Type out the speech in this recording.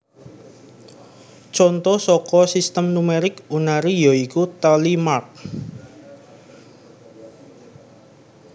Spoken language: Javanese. Conto saka Sistem numerik Unary ya iku Tally mark